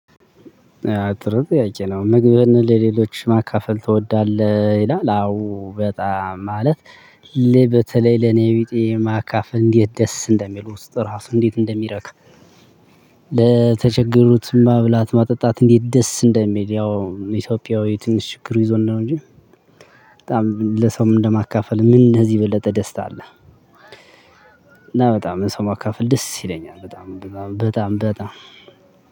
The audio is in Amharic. አዎ ጥሩ ጥያቄ ነው ምግብን ለሌሎች ማካፈል ትወዳለህ? ይላል አዎ በጣም ማለት ለበተለይ ለኔቢጤ ማካፍ እንዴት ደስ እንደሚሉ ስጥ ራሱ እንዴት እንደሚረክ። ለተቸገሩት ማብላት ማጠጣት እንዴት ደስ እንደሚል ያው ኢትዮጵያዊ ትንሽ ችግሩ ይዞን ነው። እንጂ በጣም ለሰው እንደማካፈል ምን ከዚህ የበለጠ ደስታ አለ? እና በጣም ሰው ማካፈል ደስ ይለኛል። በጣም በጣም በጣም